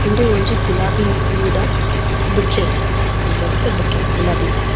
ಉಂದು ಒಂಜಿ ಗುಲಾಬಿ ಪೂ ದ ಬೊಕ್ಕೆ ಪನ್ಪೆರತೆ ಬೊಕ್ಕೆ ಗುಲಾಬಿ ಪೂ.